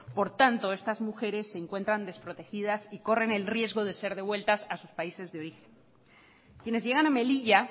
por tanto estas mujeres se encuentran desprotegidas y corren el riesgo de ser devueltas a sus países de origen quienes llegan a melilla